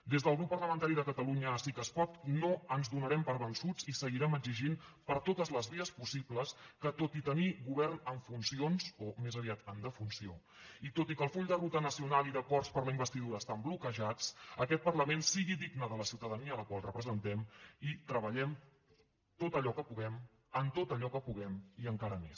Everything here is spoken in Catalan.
des del grup parlamentari de catalunya sí que es pot no ens donarem per vençuts i seguirem exigint per totes les vies possibles que tot i tenir govern en funcions o més aviat en defunció i tot i que el full de ruta nacional i d’acords per a la investidura estan bloquejats aquest parlament sigui digne de la ciutadania a la qual representem i treballem tot allò que puguem en tot allò que puguem i encara més